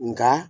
Nka